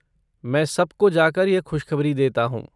मैं सबको जाकर यह खुशखबरी देता हूँ!